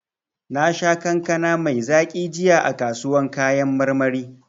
Nasha kankana mai zaki jiya a kasuwan kayan marmari.